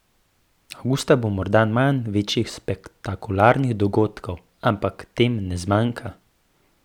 Avgusta bo morda manj večjih spektakularnih dogodkov, ampak tem ne zmanjka.